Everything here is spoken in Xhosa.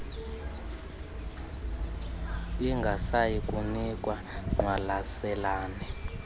ingasayi kunikwa ngqwalaselane